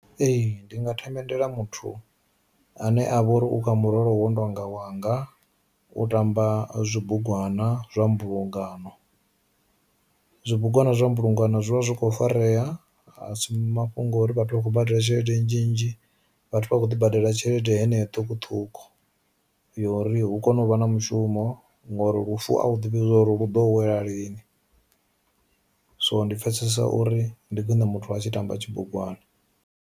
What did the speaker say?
Ee ndi nga themendela muthu ane avha uri u kha muholo wo no tonga wanga u tamba zwi bugwana zwa mbulungano. Zwi bugwana zwa mbulungano zwivha zwi kho farea a si mafhungo uri vhathu vha khou badela tshelede nnzhi nnzhi vhathu vha kho ḓo badela tshelede heneyo ṱhukhuṱhukhu yo uri hu kone u vha na mushumo ngori lufu a u ḓivhi uri lu ḓo wela lini, so ndi pfesesa uri ndi khwiṋe muthu a tshi tamba tshibugwana.